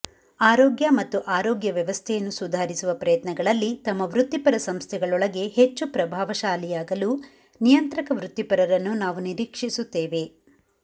ಆರೋಗ್ಯ ಮತ್ತು ಆರೋಗ್ಯ ವ್ಯವಸ್ಥೆಯನ್ನು ಸುಧಾರಿಸುವ ಪ್ರಯತ್ನಗಳಲ್ಲಿ ತಮ್ಮ ವೃತ್ತಿಪರ ಸಂಸ್ಥೆಗಳೊಳಗೆ ಹೆಚ್ಚು ಪ್ರಭಾವಶಾಲಿಯಾಗಲು ನಿಯಂತ್ರಕ ವೃತ್ತಿಪರರನ್ನು ನಾವು ನಿರೀಕ್ಷಿಸುತ್ತೇವೆ